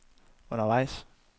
undervejs